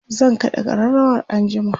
zan kaɗa ƙararawar anjima